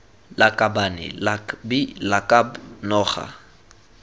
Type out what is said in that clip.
lakabane lak bi lakab noga